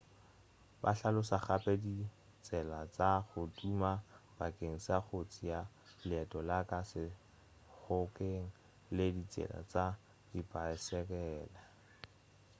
ba hlalosa gape ditsela tša go tuma bakeng sa go tšea leeto la ka lešhokeng le ditsela tša dipaesekela